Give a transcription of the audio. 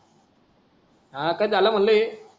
हा पण झालं म्हणलं ये